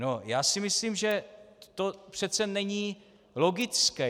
No, já si myslím, že to přece není logické.